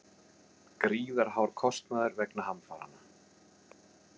Gríðarhár kostnaður vegna hamfaranna